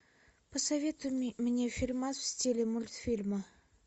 посоветуй мне фильмас в стиле мультфильма